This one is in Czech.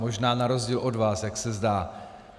Možná na rozdíl od vás, jak se zdá.